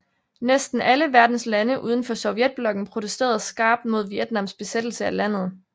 Næsten alle verdens lande uden for Sovjetblokken protesterede skarpt mod Vietnams besættelse af landet